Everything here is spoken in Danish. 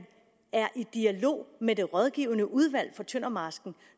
er i dialog med det rådgivende udvalg for tøndermarsken